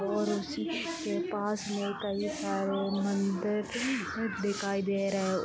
और उसी के पास में कई सारे मंदिर दिखाई दे रहे हैं।